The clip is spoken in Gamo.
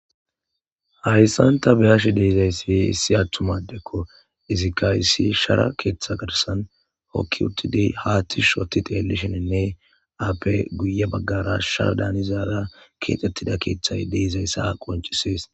hayssanta beyash deezayssi issi attumadekko izikka issi shara keeththa garsan hokki uttidi haatti shoti teelisheninne aappe guye baggara shara daanizaara keexxettida keeththay deezayssa qonchisees